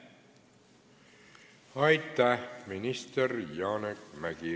Aitäh, minister Janek Mäggi!